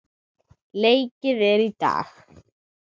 Leikið er í dag.